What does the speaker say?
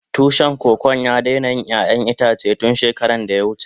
Tushin Kokon ya daina yin ƴayan itace tun shekara da ya wuce.